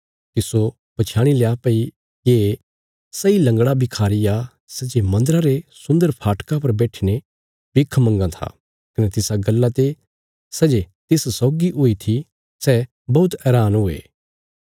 तिस्सो पछयाणी लया भई ये सैई लंगड़ा भिखारी आ सै जे मन्दरा रे सुन्दर फाटका पर बैठीने भिख मंगां था कने तिसा गल्ला ते सै जे तिस सौगी हुई थी सै बौहत हैरान हुये